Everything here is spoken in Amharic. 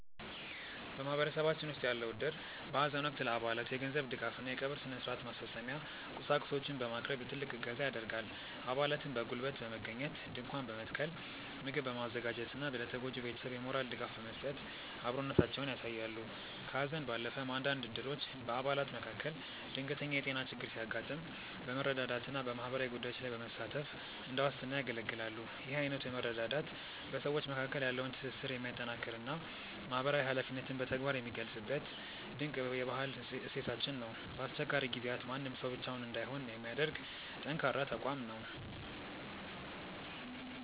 በማህበረሰባችን ውስጥ ያለው እድር በሐዘን ወቅት ለአባላቱ የገንዘብ ድጋፍና የቀብር ሥነ-ሥርዓት ማስፈጸሚያ ቁሳቁሶችን በማቅረብ ትልቅ እገዛ ያደርጋል። አባላትም በጉልበት በመገኘት ድንኳን በመትከል፣ ምግብ በማዘጋጀትና ለተጎጂው ቤተሰብ የሞራል ድጋፍ በመስጠት አብሮነታቸውን ያሳያሉ። ከሐዘን ባለፈም፣ አንዳንድ እድሮች በአባላት መካከል ድንገተኛ የጤና ችግር ሲያጋጥም በመረዳዳትና በማህበራዊ ጉዳዮች ላይ በመሳተፍ እንደ ዋስትና ያገለግላሉ። ይህ አይነቱ መረዳዳት በሰዎች መካከል ያለውን ትስስር የሚያጠናክርና ማህበራዊ ኃላፊነትን በተግባር የሚገልጽበት ድንቅ የባህል እሴታችን ነው። በአስቸጋሪ ጊዜያት ማንም ሰው ብቻውን እንዳይሆን የሚያደርግ ጠንካራ ተቋም ነው።